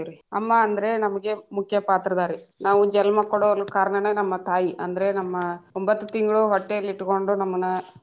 ಅಮ್ಮಾ ಅಂದ್ರೆ ನಮಗೆ ಮುಖ್ಯ ಪಾತ್ರದಾರಿ ನಾವು ಜನ್ಮ ಕೊಡೊಲ್ ಕಾರಣನೇ ನಮ್ಮ ತಾಯಿ ಅಂದ್ರೆ ನಮ್ಮ ಒಂಬತ್ತು ತಿಂಗಳು ಹೊಟ್ಟೆಯಲ್ಲಿ ಇಟ್ಕೊಂಡು ನಮ್ಮನ್ನ.